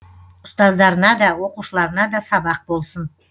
ұстаздарына да оқушыларына да сабақ болсын